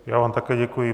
Já vám také děkuji.